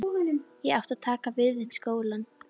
Ég átti að taka við þeim skóla.